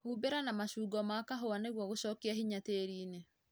Humbĩra na mashungo ma kahũa nĩguo gũshokia hinya tĩriinĩ